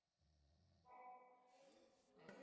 Lætur dæluna ganga.